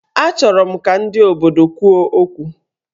Achọrọ m ka ndị obodo kwuo okwu